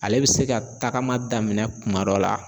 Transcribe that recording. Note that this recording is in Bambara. Ale be se ka tagama daminɛ kuma dɔ la